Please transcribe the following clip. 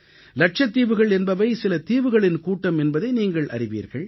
லட்சத்தீவுகள் என்பவை சிலதீவுகளின் கூட்டம் என்பதை நீங்கள் அறிவீர்கள்